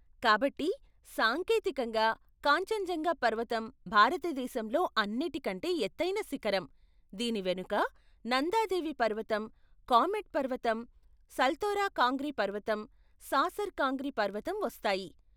కాబట్టి, సాంకేతికంగా, కాంచన్జంగా పర్వతం భారతదేశంలో అన్నిటికంటే ఎత్తైన శిఖరం, దీని వెనుక, నందాదేవి పర్వతం, కామెట్ పర్వతం, సల్తోరో కాంగ్రీ పర్వతం, సాసర్ కాంగ్రీ పర్వతం వస్తాయి.